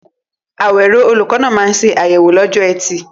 Awero, olùkọ́ náà, máa ń ṣe àyẹ̀wò lọ́jọ́ Ẹtì.